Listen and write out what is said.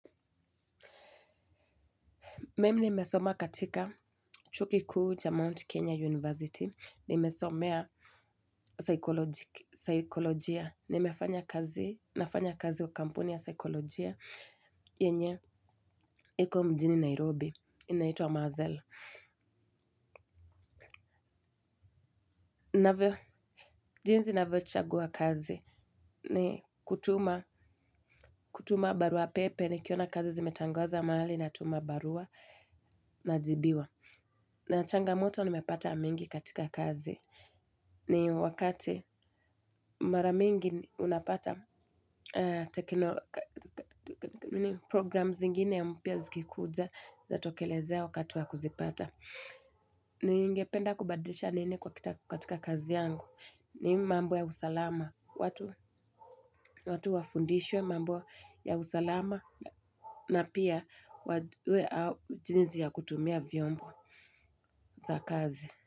Mimi nimesoma katika chuo kikuu cha Mount Kenya University, nimesomea saikolojia, nafanya kazi kwa kampuni ya saikolojia, yenye, iko mjini Nairobi, inaitwa mazel. Jinsi ninavyochagua kazi, ni kutuma barua pepe, nikiona kazi zimetangwaza mahali, natuma barua, najibiwa. Na changamoto nimepata mingi katika kazi. Ni wakati mara mingi unapata program zingine mpya zikikuja zinatokelezea wakati wa kuzipata. Ningependa kubadilisha nini katika kazi yangu. Ni mambo ya usalama. Watu wafundishwe mambo ya usalama na pia wajue jinsi ya kutumia vyombo za kazi.